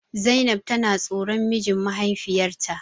Zainab tana tsoron mijin mahaifiyarta.